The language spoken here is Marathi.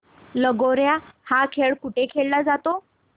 लगोर्या हा खेळ कुठे खेळला जातो